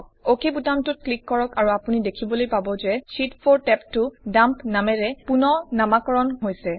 অক বুতামটোত ক্লিক কৰক আৰু আপুনি দেখিবলৈ পাব যে শীত 4 টেবটো ডাম্প নামেৰে ৰিনেম হৈছে